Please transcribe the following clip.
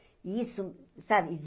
E isso, sabe?